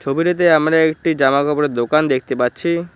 ছবিটিতে আমরা একটি জামাকাপড়ের দোকান দেখতে পাচ্ছি।